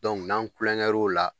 n'an kulonkɛr'o la.